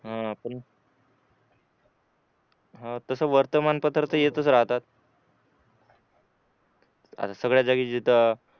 हा पण हा तसं वर्तमानपत्र येतच राहतात आता सगळ्या जागी जिथं अह